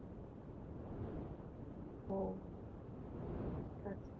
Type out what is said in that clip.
ਉਹ ਹਾਂਜੀ ਅੱਛਾ ਅੱਛਾ